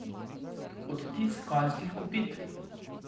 Odtis konjskih kopit.